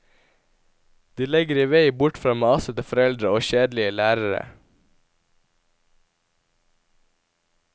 De legger i vei bort fra masete foreldre og kjedelige lærere.